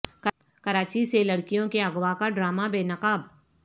کراچی سے لڑکیوں کے اغوا کا ڈرامہ بے نقاب